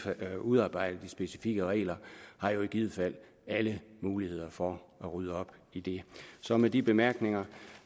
at udarbejde de specifikke regler i givet fald har alle muligheder for at rydde op i det så med de bemærkninger